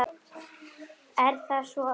Er það svo erfitt?